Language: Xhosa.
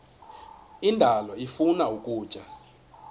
indalo ifuna ukutya